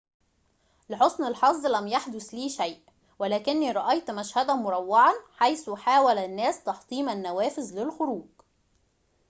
لحسن الحظ لم يحدث لي شيء ولكني رأيت مشهدًا مروعًا حيث حاول الناس تحطيم النوافذ للخروج